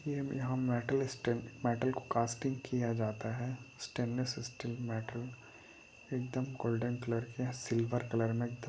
--यहां metal stamped metal को casting किया जाता है स्टेनलेस स्टिल मेटल एकदम गोल्डन कलर के सिल्वर कलर में एकदम --